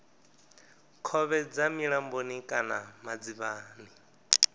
khovhe dza milamboni kana madzivhani